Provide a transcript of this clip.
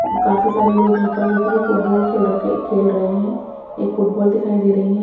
काफी सारे लोग यहाँ पर देखिएगा फुटबॉल खेल रखे खेल खेल रहे हैं एक फुटबॉल दिखाई दे रही है।